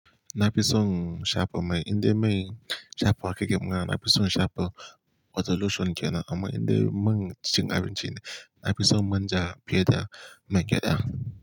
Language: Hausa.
Na fi son shafa mai inde mai shafawa keke kumaa. Na fi son shafa water lotion ke nan amma indai man chin abinci ne. Na fi son manja, fiye da man gya da.